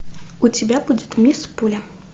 у тебя будет мисс пуля